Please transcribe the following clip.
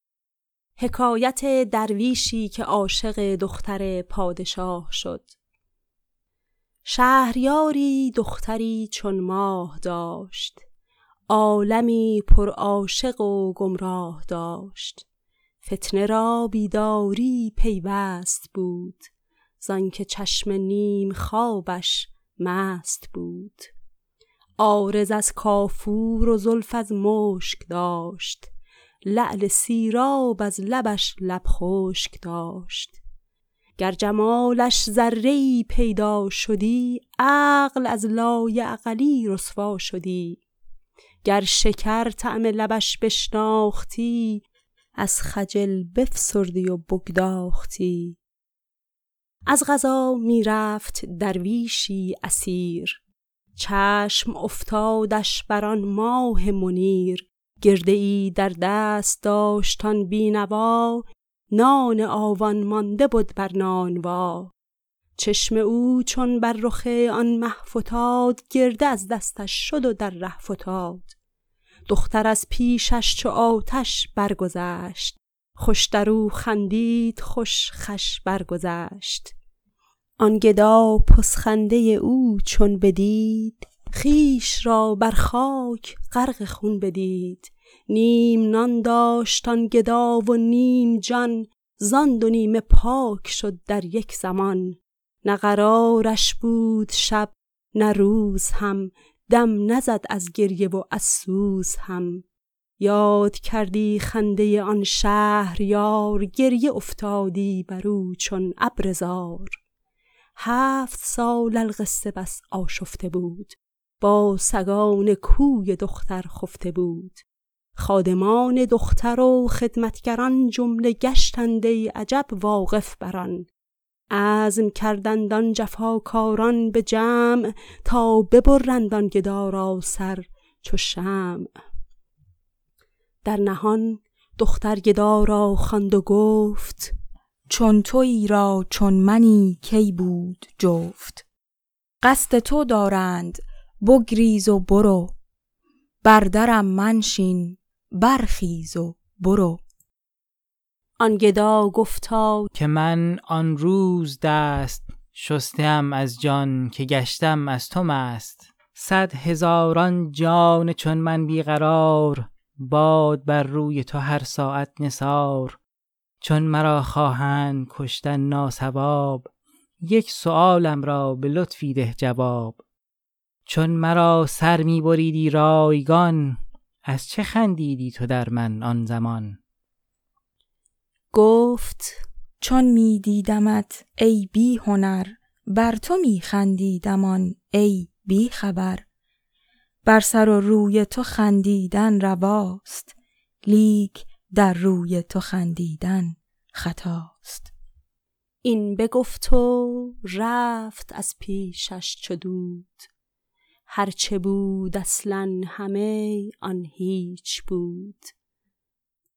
شهریاری دختری چون ماه داشت عالمی پر عاشق و گمراه داشت فتنه را بیداریی پیوست بود زآنک چشم نیم خوابش مست بود عارض از کافور و زلف از مشک داشت لعل سیراب از لبش لب خشک داشت گر جمالش ذره ای پیدا شدی عقل از لایعقلی رسوا شدی گر شکر طعم لبش بشناختی از خجل بفسردی و بگداختی از قضا می رفت درویشی اسیر چشم افتادش بر آن ماه منیر گرده ای در دست داشت آن بی نوا نان آون مانده بد بر نانوا چشم او چون بر رخ آن مه فتاد گرده از دستش شد و در ره فتاد دختر از پیشش چو آتش برگذشت خوش درو خندید خوش خوش برگذشت آن گدا پس خنده او چون بدید خویش را بر خاک غرق خون بدید نیم نان داشت آن گدا و نیم جان زان دو نیمه پاک شد در یک زمان نه قرارش بود شب نه روز هم دم نزد از گریه و از سوز هم یاد کردی خنده آن شهریار گریه افتادی برو چون ابر زار هفت سال القصه بس آشفته بود با سگان کوی دختر خفته بود خادمان دختر و خدمت گران جمله گشتند ای عجب واقف بر آن عزم کردند آن جفاکاران به جمع تا ببرند آن گدا را سر چو شمع در نهان دختر گدا را خواند و گفت چون تویی را چون منی کی بود جفت قصد تو دارند بگریز و برو بر درم منشین برخیز و برو آن گدا گفتا که من آن روز دست شسته ام از جان که گشتم از تو مست صد هزاران جان چون من بی قرار باد بر روی تو هر ساعت نثار چون مرا خواهند کشتن ناصواب یک سؤالم را به لطفی ده جواب چون مرا سر می بریدی رایگان از چه خندیدی تو در من آن زمان گفت چون می دیدمت ای بی هنر بر تو می خندیدم آن ای بی خبر بر سر و روی تو خندیدن رواست لیک در روی تو خندیدن خطاست این بگفت و رفت از پیشش چو دود هر چه بود اصلا همه آن هیچ بود